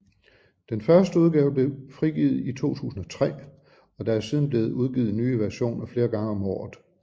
Den første udgave blev frigivet i 2003 og der er siden blev udgivet nye versioner flere gange om året